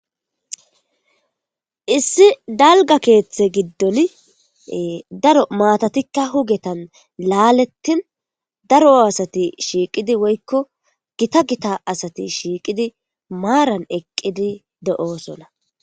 issi dalga keeththe giddoli daro matatikka hugetan laalettin daro asati shiiqidi woykko gita gita asati shiiqidi maaran eqqidi de7oosona